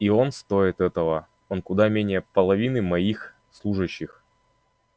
и он стоит этого он куда умнее половины моих служащих